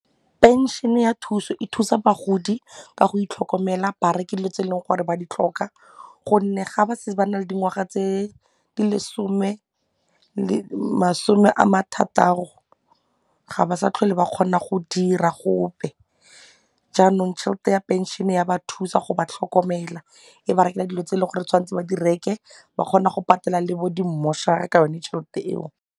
Pension ya thuso e thusa bagodi ka go itlhokomela ba reke dilo tse e leng gore ba di tlhoka gonne ga ba setse ba na le dingwaga tse di lesome le masome a mathataro ga ba sa tlhole ba kgona go dira gope jaanong tšhelete ya pension-e ya ba thusa go ba tlhokomela e ba reka dilo tse e leng gore tshwanetse ba di reke ba kgona go patela le bo di mmošara ka yone tšhelete eo.